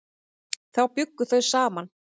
Þá bjuggu þau saman.